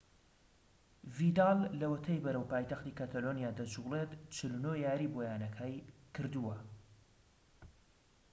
ڤیداڵ لەوەتەی بەرەو پایتەختی کەتەلۆنیا دەجوڵێت 49 یاریی بۆ یانەکە کردووە